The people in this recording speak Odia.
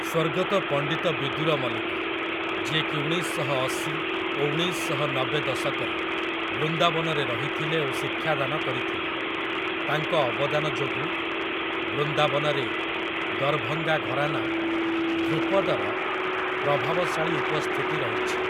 ସ୍ଵର୍ଗତ ପଣ୍ଡିତ ବିଦୁର ମଲିକ, ଯିଏ କି ଉଣେଇଶ ଶହ ଅଶି ଓ ଉଣେଇଶ ଶହ ନବେ ଦଶକରେ ବୃନ୍ଦାବନରେ ରହିଥିଲେ ଓ ଶିକ୍ଷାଦାନ କରିଥିଲେ, ତାଙ୍କ ଅବଦାନ ଯୋଗୁଁ ବୃନ୍ଦାବନରେ ଦରଭଙ୍ଗା ଘରାନା ଧ୍ରୁପଦର ପ୍ରଭାବଶାଳୀ ଉପସ୍ଥିତି ରହିଛି ।